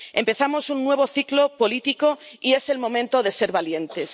Empezamos un nuevo ciclo político y es el momento de ser valientes.